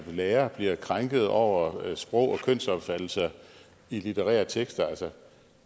lærere bliver krænket over sprog og kønsopfattelser i litterære tekster altså